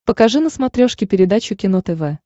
покажи на смотрешке передачу кино тв